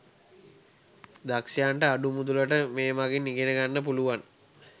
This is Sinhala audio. දක්ෂයන්ට අඩු මුදලට මේ මගින් ඉගෙන ගන්න පුලුවන්